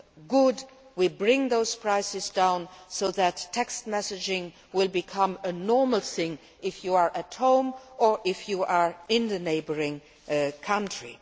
Good we are bringing those prices down so that text messaging will become a normal thing if you are at home or if you are in a neighbouring country.